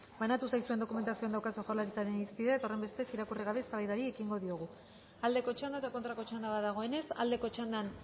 banatu zaizuen dokumentazioan daukazue jaurlaritzaren irizpidea eta horren bestez irakurri gabe eztabaidari ekingo diogu aldeko txanda eta kontrako txanda dagoenez aldeko txandan